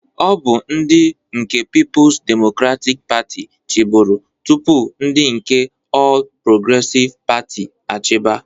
Ọ bụ ndị nke Pipus Demokratik Patị chịburu tụpụ ndị nke Ọl Progresịv Patị achiba.